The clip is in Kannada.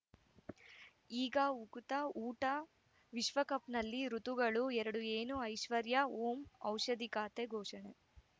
ಈಗ ಉಕುತ ಊಟ ವಿಶ್ವಕಪ್‌ನಲ್ಲಿ ಋತುಗಳು ಎರಡು ಏನು ಐಶ್ವರ್ಯಾ ಓಂ ಔಷಧಿ ಖಾತೆ ಘೋಷಣೆ